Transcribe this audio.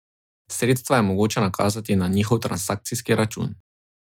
Sredstva je mogoče nakazati na njihov transakcijski račun.